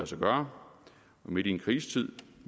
sig gøre og midt i en krisetid